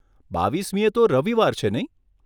બાવીસમીએ તો રવિવાર છે નહીં?